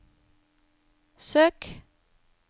søk